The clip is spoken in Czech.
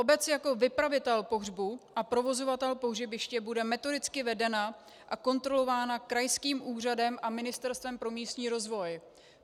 Obec jako vypravitel pohřbu a provozovatel pohřebiště bude metodicky vedena a kontrolována krajským úřadem a Ministerstvem pro místní rozvoj.